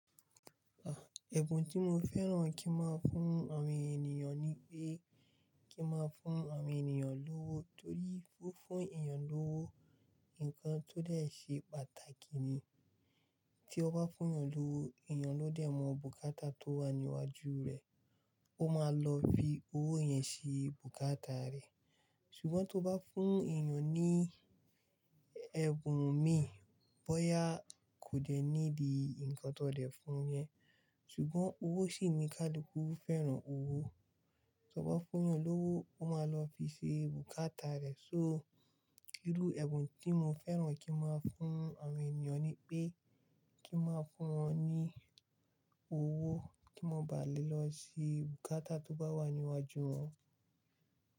À, ẹ̀bùn tí mo fẹ́ràn kí n máa fún àwọn ènìyàn ni pé kí n máa fún àwọn ènìyàn lówó torí fún, fún èèyàn lówó nǹkan tó dẹ̀ ṣe pàtàkì ni. Tí o bá fún èèyàn lówó, èèyàn ló dẹ̀ mọ bùkátà tó wà ní iwájú rè, ó máa lọ fi owó yẹn ṣe bùkátà rẹ̀. Ṣùgbọ́n tí o bá fún èèyàn ní ẹ̀bùn mi, bóyá kò jẹ́ ní di ǹkan tó dẹ̀ fún yẹn, ṣùgbọ́n owó sì ni kálú kù fẹ́ràn owó. Tí o bá fún èèyàn lówó, ó máa lọ fi ṣe bùkátà rẹ̀. So, irú ẹ̀bùn tí mo fẹ́ràn kí n máa fún àwọn ènìyàn ni pé kí n máa fún wọn ní owó kí wọ́n bá lè lọ ṣe bùkátà tó bá wà ní iwájú wọn.